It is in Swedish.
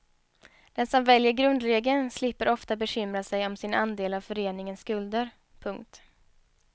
Den som väljer grundregeln slipper ofta bekymra sig om sin andel av föreningens skulder. punkt